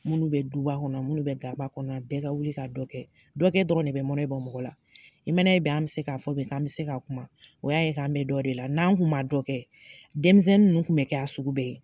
Minnu bɛ duba kɔnɔ, minnu bɛ gaba kɔnɔ, bɛɛ ka wili ka dɔ kɛ. Dɔ kɛ dɔrɔn de bɛ mɔnɛ bɔ mɔgɔ la. I m'a n'a ye bi an bɛ se k'a fɔ bi, k'an bɛ se k'a kuma, o y'a ye k'an bɛ dɔ de la, n'an kuma dɔ kɛ, denmisɛnnin ninnu kun bɛ kɛ sugu bɛɛ ye.